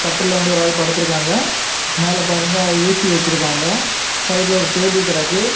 இதுல வந்து ஒரு ஆள் படுத்து இருக்காங்க மேல பாருங்க ஏ_சி வச்சிருக்காங்க சைடுல ஒரு டேபிள் கிடக்கு.